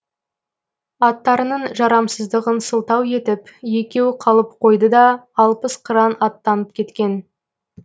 аттарының жарамсыздығын сылтау етіп екеуі қалып қойды да алпыс қыран аттанып кеткен